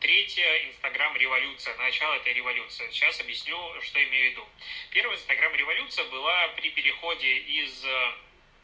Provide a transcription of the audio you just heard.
третья инстаграм революция начало этой революции сейчас объясню что имею в виду первая инстаграм революция была при переходе из